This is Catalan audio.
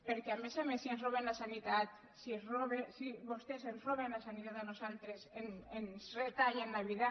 perquè a més a més si ens roben la sanitat si vostès ens roben la sanitat a nosaltres ens retallen la vida